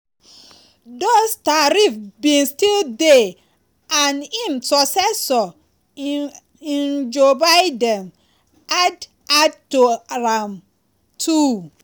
dose tariffs bin still dey and im successor um joe biden add add to am um too.